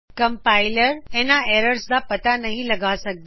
compiler ਇਹਨਾਂ error ਦਾ ਪਤਾ ਨਹੀਂ ਲਗਾ ਸਕਦਾ